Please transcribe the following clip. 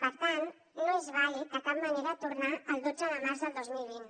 per tant no és vàlid de cap manera tornar al dotze de març del dos mil vint